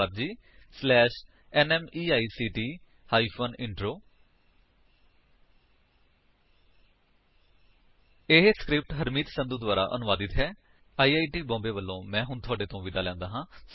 I I T Bombay ਦੇ ਵੱਲੋਂ ਮੈਂ ਹਰਮੀਤ ਸੰਧੂ ਹੁਣ ਤੁਹਾਡੇ ਤੋਂ ਵਿਦਾ ਲੈਂਦਾ ਹਾਂ